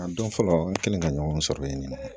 A don fɔlɔ an kɛlen ka ɲɔgɔn sɔrɔ yen nɔ